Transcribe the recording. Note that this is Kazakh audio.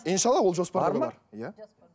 иншаалла ол жоспарда бар иә